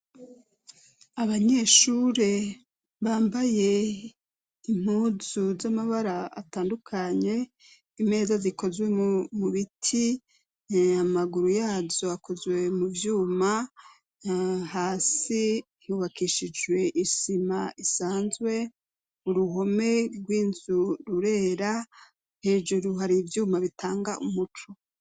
Abanyeshure bambaye impuzu z'amabara atandukanye, imeza zikozwe mu biti, amaguru yazo akozwe mu vyuma, hasi hubakishijwe isima isanzwe, uruhome rw'inzu rurera hejuru hari ivyuma bitanga umuco.